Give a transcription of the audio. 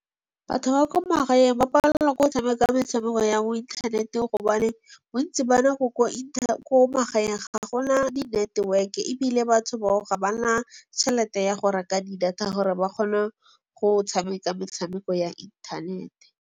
Batho ba ko magaeng ba palelwa ke go tshameka metshameko ya mo inthaneteng gobane bontsi ko magaeng ga gona di network-e ebile batho bao ga ba na tšhelete ya go reka di-data gore ba kgone go tshameka metshameko ya internet-e.